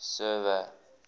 server